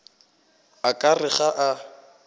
o ka re ga a